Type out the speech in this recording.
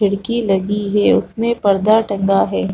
खिड़की लगी है उसमें पर्दा टंगा है ।